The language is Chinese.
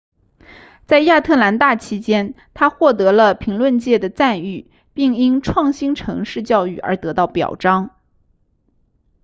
在亚特兰大期间她获得了评论界的赞誉并因创新城市教育而得到表彰